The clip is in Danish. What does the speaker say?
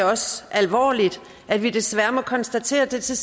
også alvorligt at vi desværre må konstatere at det til